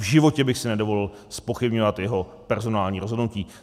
V životě bych si nedovolil zpochybňovat jeho personální rozhodnutí.